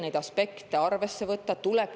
Neid tuleb võtta tõsiselt …